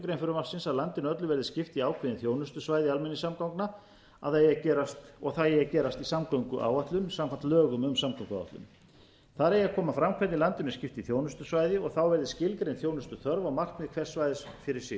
greinar frumvarpsins að landinu öllu verði skipt í ákveðin þjónustusvæði almenningssamgangna að það eigi að gerast í samgönguáætlun samkvæmt lögum um samgönguáætlun þar eigi að koma fram hvernig landinu er skipt í þjónustusvæði og það verði skilgreint þjónustuþörf og markmið hvers svæðis fyrir